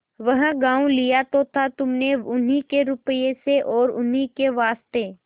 वह गॉँव लिया तो था तुमने उन्हीं के रुपये से और उन्हीं के वास्ते